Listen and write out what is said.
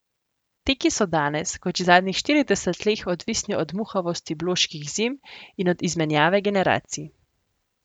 Teki so danes, kot že zadnjih štirideset let, odvisni od muhavosti bloških zim in od izmenjave generacij.